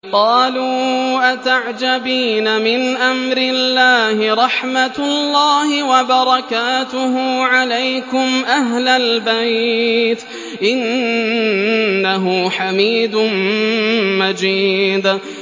قَالُوا أَتَعْجَبِينَ مِنْ أَمْرِ اللَّهِ ۖ رَحْمَتُ اللَّهِ وَبَرَكَاتُهُ عَلَيْكُمْ أَهْلَ الْبَيْتِ ۚ إِنَّهُ حَمِيدٌ مَّجِيدٌ